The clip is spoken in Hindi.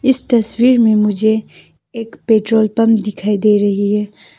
इस तस्वीर में मुझे एक पेट्रोल पम्प दिखाई दे रही है।